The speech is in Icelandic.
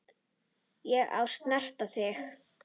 Og ég snerti þig.